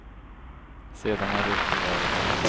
Sedan är det upp till var och en.